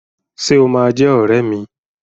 Ṣé o máa jẹ́ ọrẹ́ mi?